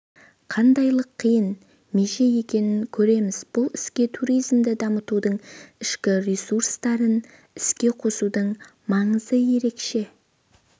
қандайлық қиын меже екенін көреміз бұл істе туризмді дамытудың ішкі ресурстарын іске қосудың маңызы ерекше